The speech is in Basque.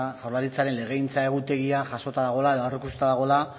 jaurlaritzaren legegintza egutegia jasota dagoela edo aurreikusita dagoela